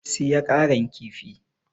Siya Karan kifi!